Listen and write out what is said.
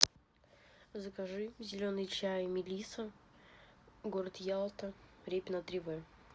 закажи зеленый чай мелиса город ялта репина три в